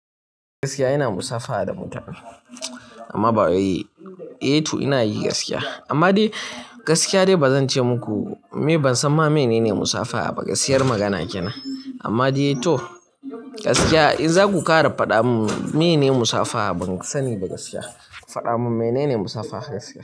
Gaskiya ina musafaha da mutane amma ba wai. Eh to ina yi gaskiya amma dai gaskiya dai ba zan ce muku. Ni ban san me ne musafaha ba, gaskiyar magana kenan. Amma dai toh gaskiya in za ku ƙara faɗa min menene musafaha ban sani ba gaskiya. Faɗa min menene musafaha gaskiya.